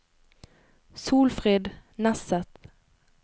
Solfrid Nesset